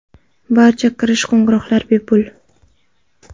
Barcha kirish qo‘ng‘iroqlar bepul.